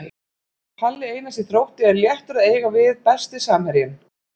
Palli Einars í Þrótti er léttur að eiga við Besti samherjinn?